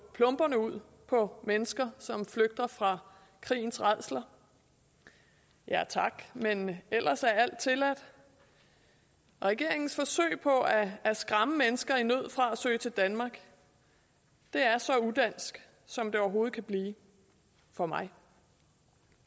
plomberne ud på mennesker som flygter fra krigens rædsler ja tak men ellers er alt tilladt regeringens forsøg på at skræmme mennesker i nød fra at søge til danmark er så udansk som det overhovedet kan blive for mig